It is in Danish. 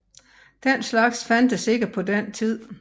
Den slags fandtes ikke på den tid